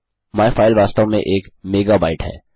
my file वास्तव में एक मेगाबाईट है